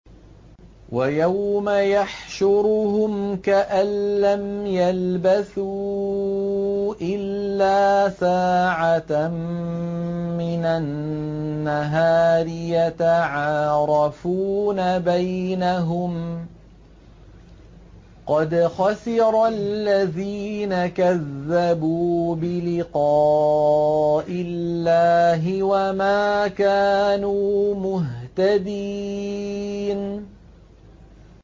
وَيَوْمَ يَحْشُرُهُمْ كَأَن لَّمْ يَلْبَثُوا إِلَّا سَاعَةً مِّنَ النَّهَارِ يَتَعَارَفُونَ بَيْنَهُمْ ۚ قَدْ خَسِرَ الَّذِينَ كَذَّبُوا بِلِقَاءِ اللَّهِ وَمَا كَانُوا مُهْتَدِينَ